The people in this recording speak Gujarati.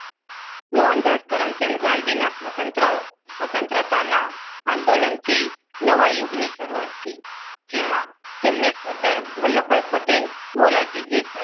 મોહનદાસ કરમચંદ ગાંધીનાસ્વતંત્રત સ્વતંત્રતાના આંદોલનથી નવા યુગની શરૂઆત થઈ. જેમાં તેમને સરદાર વલ્લભભાઈ પટેલ મોરારજી દેસાઈ